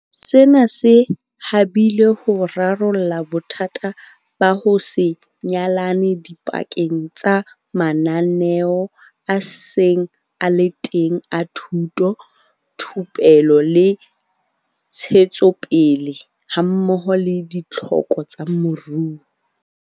Sena se habile ho rarolla bothata ba ho se nyalane dipakeng tsa mananeo a seng a le teng a thuto, thupelo le ntshetsopele hammoho le ditlhoko tsa moruo.